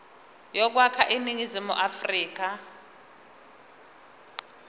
yokwakha iningizimu afrika